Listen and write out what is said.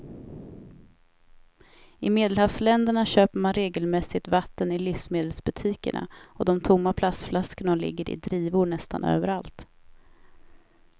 I medelhavsländerna köper man regelmässigt vatten i livsmedelsbutikerna och de tomma plastflaskorna ligger i drivor nästan överallt.